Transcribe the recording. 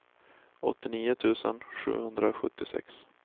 åttionio tusen sjuhundrasjuttiosex